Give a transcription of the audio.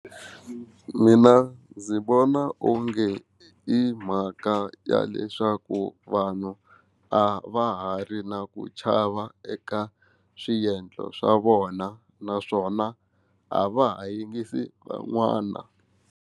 Mina ndzi vona onge i mhaka ya leswaku vanhu a va ha ri na ku chava eka swiendlo swa vona naswona a va ha yingisi van'wana.